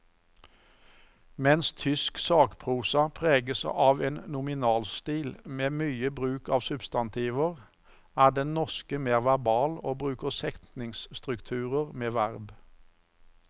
Mens tysk sakprosa preges av en nominalstil med mye bruk av substantiver, er den norske mer verbal og bruker setningsstrukturer med verb.